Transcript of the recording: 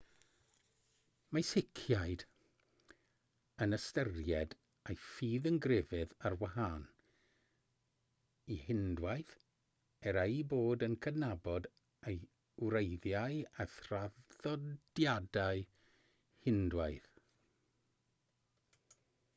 mae sikhiaid yn ystyried eu ffydd yn grefydd ar wahân i hindŵaeth er eu bod yn cydnabod ei wreiddiau a thraddodiadau hindŵaidd